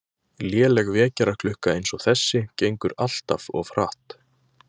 Léleg vekjaraklukka eins og þessi gengur alltaf of hratt